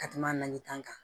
Ka kuma nali kan